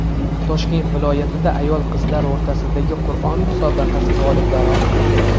Toshkent viloyatida ayol-qizlar o‘rtasidagi Qur’on musobaqasi g‘oliblari aniqlandi.